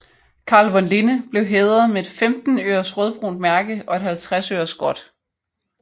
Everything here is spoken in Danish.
Carl von Linné blev hædret med et 15 øres rødbrunt mærke og et 50 øres gråt